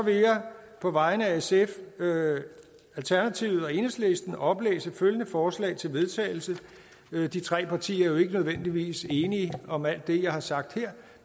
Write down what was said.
på vegne af sf alternativet og enhedslisten oplæse et forslag til vedtagelse de tre partier er jo ikke nødvendigvis enige om alt det jeg har sagt her